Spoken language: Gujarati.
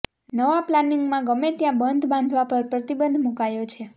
નવા પ્લાનિંગમાં ગમે ત્યાં બંધ બાંધવા પર પ્રતિબંધ મુકાયો છે